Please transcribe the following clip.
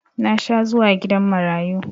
Na sha zuwa gidan marayu